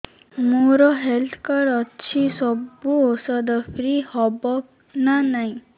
ମୋର health card ଅଛି ସବୁ ଔଷଧ ଫ୍ରି ହବ ନା ନାହିଁ